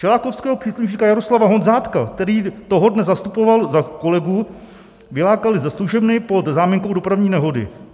Čelákovského příslušníka Jaroslava Honzátka, který toho dne zastupoval za kolegu, vylákali ze služebny pod záminkou dopravní nehody.